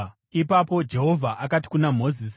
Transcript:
Ipapo Jehovha akati kuna Mozisi,